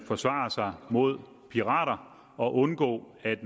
forsvare sig mod pirater og undgå at